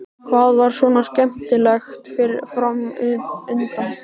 Hvað var svona skemmtilegt fram undan?